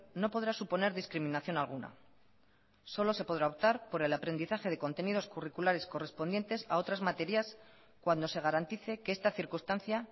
no podrá suponer discriminación alguna solo se podrá optar por el aprendizaje de contenidos curriculares correspondientes a otras materias cuando se garantice que esta circunstancia